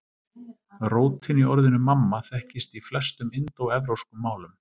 Rótin í orðinu mamma þekkist í flestum indóevrópskum málum.